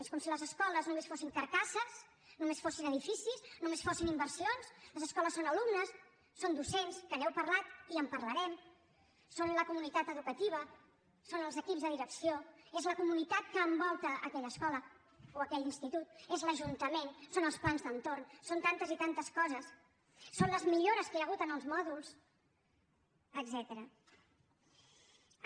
és com si les escoles només fossin carcasses només fossin edificis només fossin inversions les escoles són alumnes són docents que n’heu parlat i en parlarem són la comunitat educativa són els equips de direcció és la comunitat que envolta aquella escola o aquell institut és l’ajuntament són els plans d’entorn són tantes i tantes coses són les millores que hi ha hagut en els mòduls etcètera